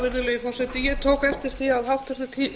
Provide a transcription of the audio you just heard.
virðulegi forseti ég tók eftir því að háttvirtur